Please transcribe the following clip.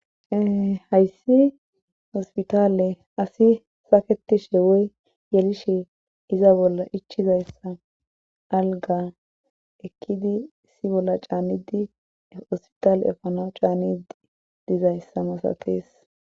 Hayssi ospitale asi saketishe woy yelishe iza bolla ichizayssa alga ekkidi si bolla caanidi hospitale efano caani dizayssa masatees.